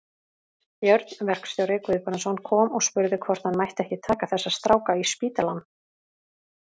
Björn verkstjóri Guðbrandsson kom og spurði hvort hann mætti ekki taka þessa stráka í spítalann.